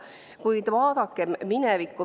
Kuid vaadakem minevikku.